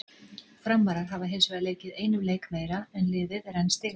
Framarar hafa hinsvegar leikið einum leik meira en liðið er enn stigalaust.